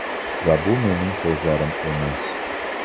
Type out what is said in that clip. Va bu mening so‘zlarim emas.